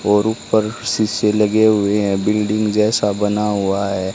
और ऊपर शीशे लगे हुए हैं बिल्डिंग जैसा बना हुआ है।